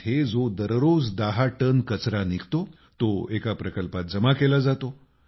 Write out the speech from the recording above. तिथं जो दररोज 10 टन कचरा निघतो तो एका प्रकल्पात तो जमा केला जातो